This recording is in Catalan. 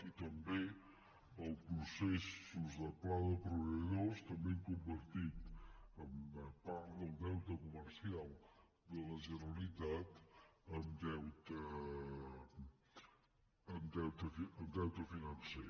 i també els processos de pla de proveïdors també han convertit part del deute comercial de la generalitat en deute financer